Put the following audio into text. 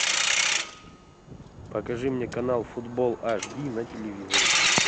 покажи мне канал футбол аш ди на телевизоре